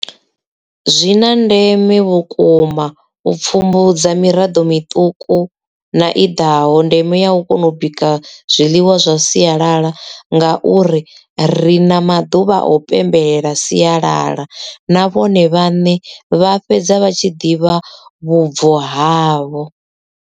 Zwina ndeme vhukuma u pfumbudza miraḓo miṱuku na i ḓaho ndeme ya u kona u bika zwiḽiwa zwa siyalala nga uri ri na maḓuvha o pembelela siyalala na vhone vhaṋe vha fhedza vha tshi ḓivha vhubvo havho.